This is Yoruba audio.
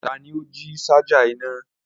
Tani o ji ṣaja ina?